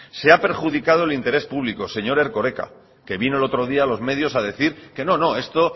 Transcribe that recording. se ha perjudicado el interés público señor erkoreka que vino el otro día a los medios a decir que no que